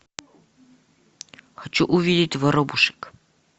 хочу увидеть воробушек